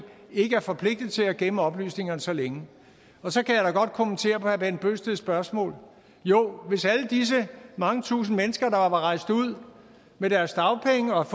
ikke er forpligtet til at gemme oplysningerne så længe så kan jeg da kommentere herre bent bøgsteds spørgsmål jo hvis alle disse mange tusinde mennesker der var rejst ud med deres dagpenge og